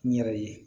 N yɛrɛ ye